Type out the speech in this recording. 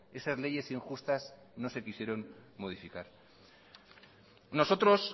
esas leyes injustas no se quisieron modificar nosotros